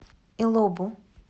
илобу